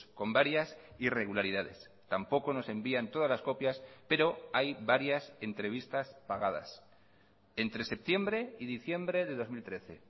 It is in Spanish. con varias irregularidades tampoco nos envían todas las copias pero hay varias entrevistas pagadas entre septiembre y diciembre de dos mil trece